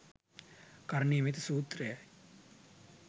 කරණීයමෙත්ත සූත්‍රයයි.